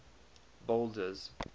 boulders